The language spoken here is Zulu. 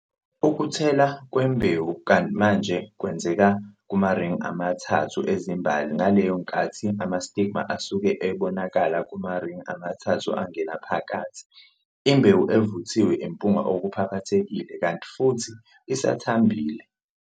Ukuthela kwembewu manje kwenzeka kumaringi ama-3 ezimbali ngaleyo nkathi ama-stigma asuke ebonakala kumaringi amathathu angena ngaphakathi. Imbewu evuthiwe impunga okuphaphathekile kanti futhi isathambile.